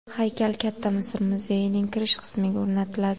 Haykal Katta Misr muzeyining kirish qismiga o‘rnatiladi.